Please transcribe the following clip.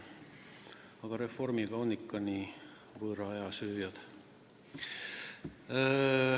Aga Reformierakonnaga on ikka nii, nad on võõra aja sööjad.